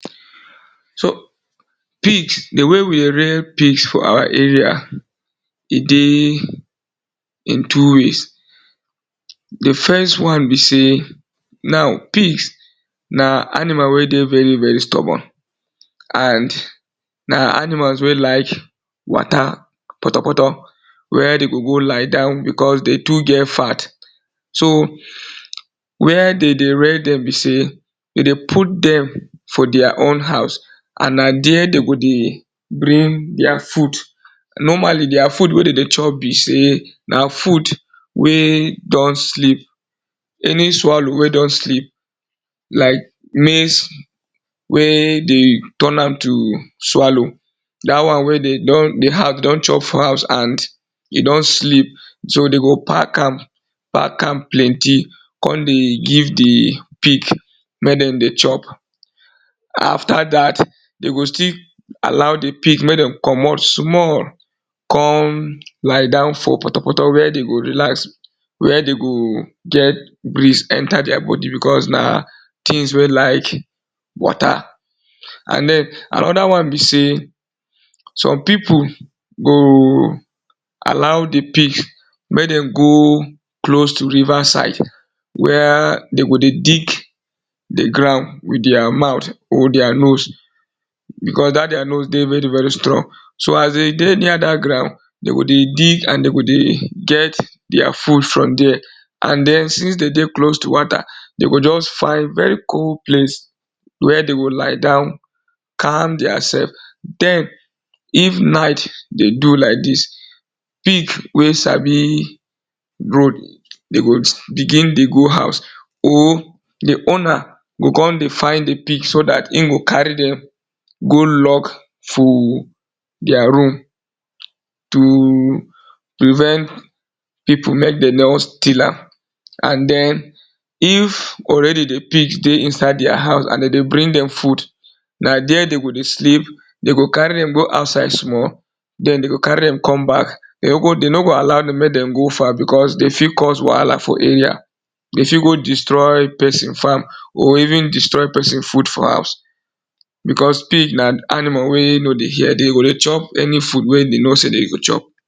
So pigs, di way we rear pigs for our area e dey in two ways di first one be sey now pigs na animal wey dey very very stubborn and na animals wey like water poto-poto where dey go go lie down because dey too get fat so where dey dey rear dem be sey dey dey put dem for their own house and na there dey go dey bring their food normally their food wey dem dey chop be sey na food wey don sleep any swallow wey don sleep like maize wey dey turn am to swallow dat one wey dey don di don chop for house and e don sleep so dem go pack am pack am plenty come dey give di pig make dem dey chop after dat dey go still allow di pig make dem komot small come lie down for poto-poto where dey go relax where dey go get breeze enter their body because na things wey like water and den another one be sey, some people go allow di pigs make dem go close to river side where dey go dey dig di ground with their mouth or their nose because that their nose dey very very strong so as dey dey near dat ground dey go dey dig and dey go dey get their food from there and den since dey dey close to water dey go just find very cold place where dey go lie down calm their self den if night dey do like dis, pig wey sabi road dey go begin dey go house or di owner go come dey find di pigs so that im go carry dem go lock for their room to prevent people make dem no steal am and den if already di pigs dey inside their house and dem dey bring dem food na there dem go dey sleep, dey go carry dem go outside small den dem go carry dem come back dem no go allow dem make dem go far because dem fit cause wahala for area, dem fit go destroy person farm or even destroy person food for house because pig na animal wey no dey hear dem go dey chop any food wey dem no sey chop